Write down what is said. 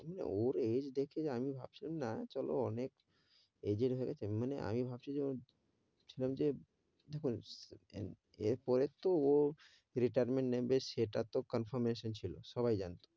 ওর age দেখে আমি ভাবছিলাম না, চলো অনেক, age র হয়ে গেছে, মানে আমি ভাবছি যে ভাবছিলাম যে দেখুন, এর পরে তো retirement নেবে সেটা তো confirmation ছিল সবাই জানে,